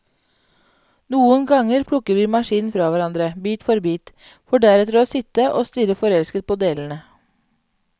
Noen ganger plukker vi maskinen fra hverandre, bit for bit, for deretter å sitte og stirre forelsket på delene.